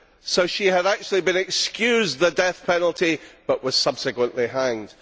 So she had actually been excused the death penalty but was subsequently hanged.